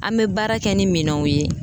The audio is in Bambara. An bɛ baara kɛ ni minɛnw ye.